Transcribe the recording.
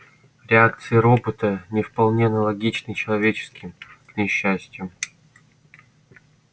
реакции робота не вполне аналогичны человеческим к несчастью